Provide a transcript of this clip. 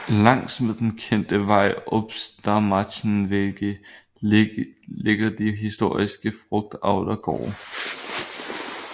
Langs med den kendte vej Obstmarschenwegde ligger de historiske frugtavlergårde